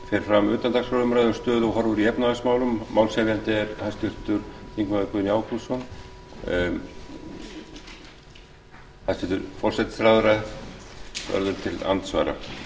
fer fram utandagskrárumræða um stöðu og horfur í efnahagsmálum málshefjandi er háttvirtur þingmaður guðni ágústsson hæstvirtur forsætisráðherra verður til andsvara